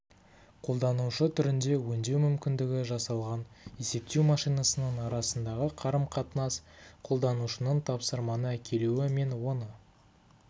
қолданушы түрінде өңдеу мүмкіндігі жасалған есептеу машинасының арасындағы қарым-қатынас қолданушының тапсырманы әкелуі мен оны